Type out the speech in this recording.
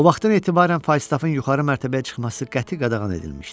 O vaxtdan etibarən Faystaffın yuxarı mərtəbəyə çıxması qəti qadağan edilmişdi.